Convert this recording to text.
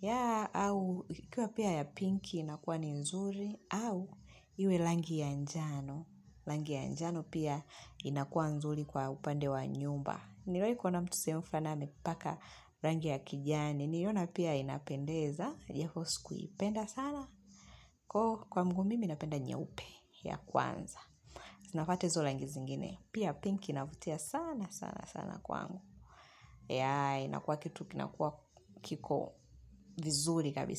Ya au, ikikua pia ya pinki inakua ni nzuri au iwe langi ya njano. Langi ya njano pia inakua nzuri kwa upande wa nyumba. Niliwaii kuona mtu sehemu fulani amepaka langi ya kijani. Niliona pia inapendeza japo sikuipenda sana ko kwa ngu mimi napenda nye upe ya kwanza. Zinafata izo langi zingine. Pia pinki inavutia sana sana sana kwangu. Yeah, inakuwa kitu kinakuwa kiko vizuri kabisa.